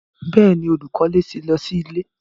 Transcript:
Bẹ́ẹ̀ni, olúkọlẹ̀ ti lọ sí ilẹ̀